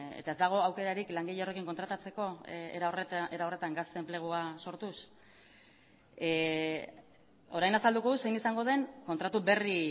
eta ez dago aukerarik langile horrekin kontratatzeko era horretan gazte enplegua sortuz orain azalduko dut zein izango den kontratu berri